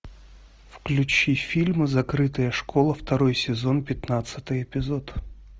включи фильм закрытая школа второй сезон пятнадцатый эпизод